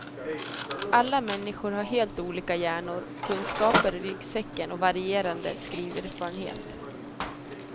Alla människor har helt olika hjärnor, kunskaper i ryggsäcken och varierande skriverfarenhet.